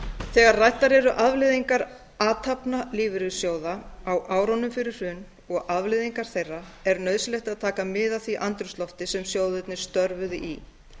þegar ræddar eru afleiðingar athafna lífeyrissjóða á árunum fyrir hrun og afleiðingar þeirra er nauðsynlegt að taka mið af því andrúmslofti sem sjóðirnir störfuðu í